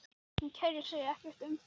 Hún kærir sig ekkert um það.